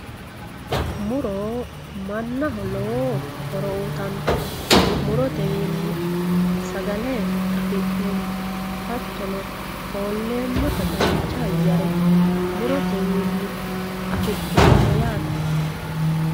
Muro manaho lowo horo uyitano murotewiini sagale afi'neemo hatono foolemotta dancha ayyere murotewiini afi'neemo yaate